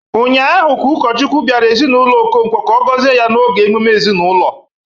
Ụnyahụ ka ụkọchukwu bịara ezinaụlọ Okonkwo ka ọ gọzie ya n'oge emume ezinaụlọ.